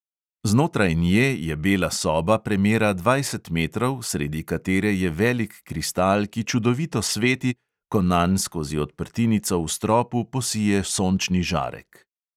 Znotraj nje je bela soba, premera dvajset metrov, sredi katere je velik kristal, ki čudovito sveti, ko nanj skozi odprtinico v stropu posije sončni žarek.